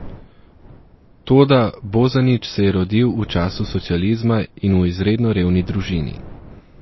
Toda Bozanić se je rodil v času socializma in v izredno revni družini.